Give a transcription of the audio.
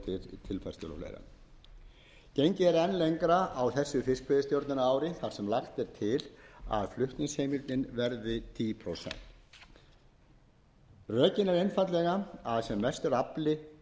enn lengra á þessu fiskveiðistjórnarári þar sem lagt er til að flutningsheimildin verði tíu prósent rökin eru einfaldlega að sem mestur afli berist að